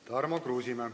Tarmo Kruusimäe.